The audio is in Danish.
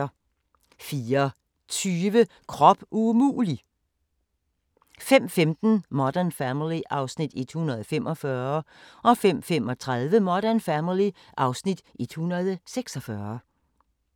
04:20: Krop umulig! 05:15: Modern Family (Afs. 145) 05:35: Modern Family (Afs. 146)